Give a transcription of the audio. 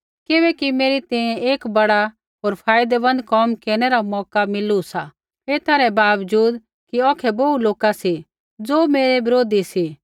किबैकि मेरी तैंईंयैं एक बड़ा होर फायदैमन्द कोम केरनै रा मौका मिलू सा एथा रै बावजूद कि औखै बोहू लोका सी ज़ो मेरै बिरोधी सी